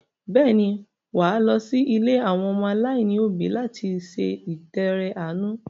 Bẹ́ẹ̀ ni, wà á lọ sí ilé àwọn ọmọ aláìní òbí láti ṣe ìtọrẹ-àánú.